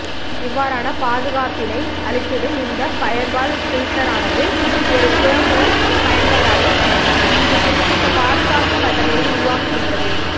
இவ்வாறான பாதுகாபபினை அளித்திடும் இந்த ஃபயர்வால் பில்டர் ஆனது ஒரு திறமூல பயன்பாடாகும் இது குறிப்பிட்ட பாதுக்காப்பு கட்டளையை உருவாக்குகின்றது